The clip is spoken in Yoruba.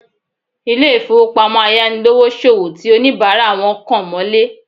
Ilé ìfowópamọ́ ayánilówóṣòwó ti oníbàárà wọn kan mọ́lé